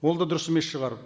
ол да дұрыс емес шығар